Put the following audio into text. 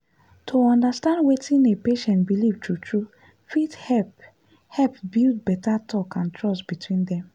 to understand wetin a patient believe true true fit help help build better talk and trust between dem.